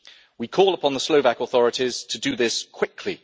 We call upon the Slovak authorities to do this quickly.